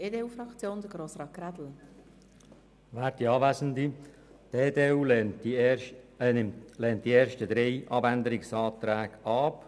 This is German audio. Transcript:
Die EDU-Fraktion lehnt die ersten drei Abänderungsanträge ab.